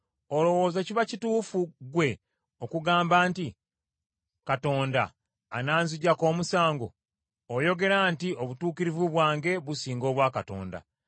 “Olowooza kiba kituufu ggwe okugamba nti, Katonda ananziggyako omusango. Oyogera nti, obutuukirivu bwange businga obwa Katonda.